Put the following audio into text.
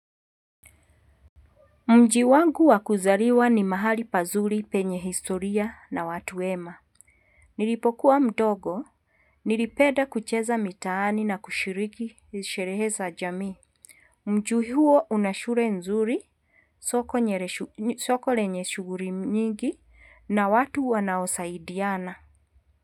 Mji wangu wakuzaliwa ni mahali pazuri penye historia na watu wema. Nilipokuwa mdogo, nilipenda kucheza mitaani na kushiriki, sherehe za jamii. Mji huo una shule nzuri, soko lenye shughuli nyingi, na watu wanaosaidiana.